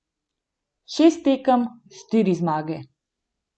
Šest tekem, štiri zmage.